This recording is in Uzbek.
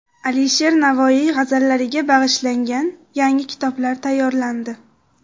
Alisher Navoiy g‘azallariga bag‘ishlangan yangi kitoblar tayyorlandi.